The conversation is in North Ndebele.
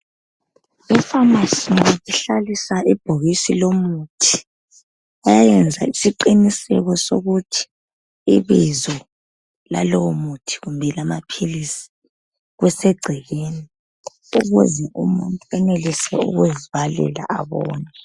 Ekhemisi bahlalisa ibhokisi lomuthi bayayenza isiqiniseko sokuthi ibizo lalowomuthi kumbe amaphilizi kusegcekeni ukuze umuntu enelise ukuzibalela abone.